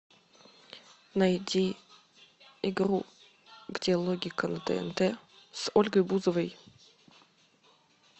найди игру где логика на тнт с ольгой бузовой